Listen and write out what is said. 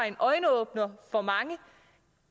en øjenåbner for mange